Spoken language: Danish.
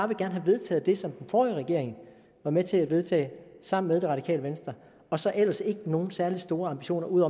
vil have vedtaget det som den forrige regering var med til at vedtage sammen med det radikale venstre og så ellers ikke nogen særlig store ambitioner ud